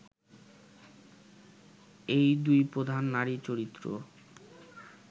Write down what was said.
এই দুই প্রধান নারীচরিত্র